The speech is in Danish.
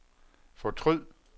fortryd